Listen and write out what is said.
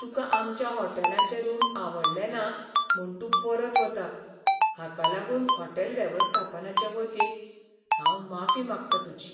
तुका आमच्या हॉटेलाचें रूम आवडले ना म्हूण तूं परत वता, हाका लागून हॉटेल वेवस्थापनाचे वतीन हांव माफी मागता तुजी.